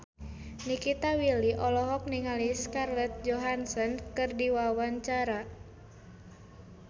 Nikita Willy olohok ningali Scarlett Johansson keur diwawancara